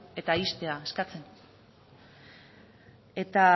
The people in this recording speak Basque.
eta ixtea eskatzen eta